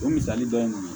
O misali dɔ ye mun ye